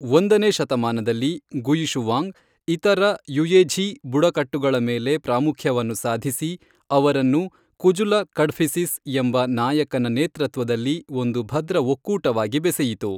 ಒಂದನೇ ಶತಮಾನದಲ್ಲಿ, ಗುಯಿಶುವಾಂಗ್ ಇತರ ಯುಯೆಝೀ ಬುಡಕಟ್ಟುಗಳ ಮೇಲೆ ಪ್ರಾಮುಖ್ಯವನ್ನು ಸಾಧಿಸಿ, ಅವರನ್ನು ಕುಜುಲ ಕಡ್ಫಿಸಿಸ್ ಎಂಬ ನಾಯಕನ ನೇತೃತ್ವದಲ್ಲಿ ಒಂದು ಭದ್ರ ಒಕ್ಕೂಟವಾಗಿ ಬೆಸೆಯಿತು.